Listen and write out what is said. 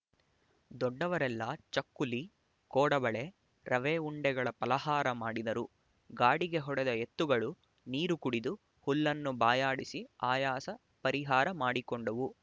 ದೊಡ್ಡವರೆಲ್ಲ ಚಕ್ಕುಲಿ ಕೋಡಬಳೆ ರವೆ ಉಂಡೆಗಳ ಫಲಹಾರ ಮಾಡಿದರು ಗಾಡಿಗೆ ಹೊಡೆದ ಎತ್ತುಗಳು ನೀರು ಕುಡಿದು ಹುಲ್ಲನ್ನು ಬಾಯಾಡಿಸಿ ಆಯಾಸ ಪರಿಹಾರ ಮಾಡಿಕೊಂಡುವು